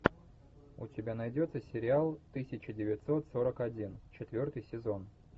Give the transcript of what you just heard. у тебя найдется сериал тысяча девятьсот сорок один четвертый сезон